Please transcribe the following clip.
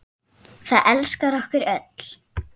Það elskar okkur öll.